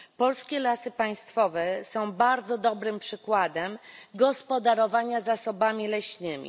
Polskie Lasy Państwowe są bardzo dobrym przykładem gospodarowania zasobami leśnymi.